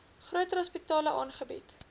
groter hospitale aangebied